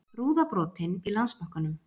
Rúða brotin í Landsbankanum